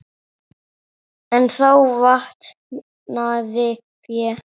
En þá vantaði fé.